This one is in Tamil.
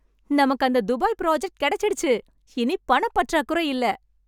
நமக்கு அந்த துபாய் ப்ராஜெக்ட் கிடைச்சிடுச்சு! இனிப் பணப் பற்றாக்குறையில்ல!